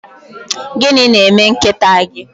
Gịnị na-eme nkịta gị?